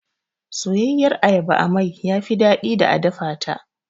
Soyayyiyar ayaba a mai yafi daɗi da a dafata.